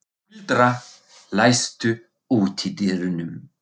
Tildra, læstu útidyrunum.